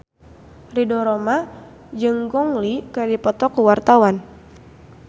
Ridho Roma jeung Gong Li keur dipoto ku wartawan